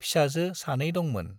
फिसाजो सानै दंमोन।